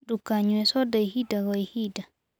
Ndũkanyũe soda ĩhĩda gwa ĩhĩda